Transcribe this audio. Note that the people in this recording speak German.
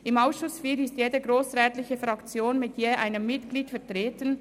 Im Ausschuss IV ist jede grossrätliche Fraktion mit einem Mitglied vertreten.